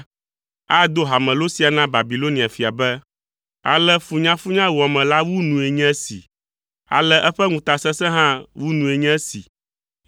ado hamelo sia na Babilonia fia be, Ale funyafunyawɔame la wu nue nye esi! Ale eƒe ŋutasesẽ hã wu nue nye esi!